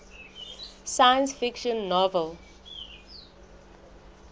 science fiction novel